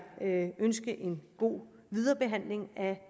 ønske en god videre behandling af